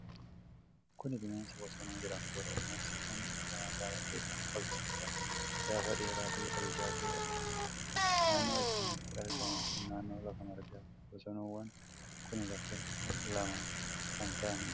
Kun bineensa bosonuu jedhamtuudha. Bineensi kun bifa magaala ta'e kan qabdu yoo ta'u, gaafa dheeraa fi ol ijaajju qabdi. Naannoon isaan itti argaman kun naannoo lafa margaati. Bosonuuwwan kun lakkooofsaan lama kan ta'anidha.